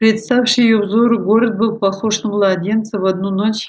представший её взору город был похож на младенца в одну ночь